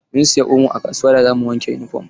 Mun siya omo a kasuwa da zamu wanke yunifom.